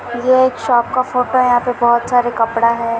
यह एक शॉप का फ़ोटो है यहाँ पे बहुत सारा कपड़ा है।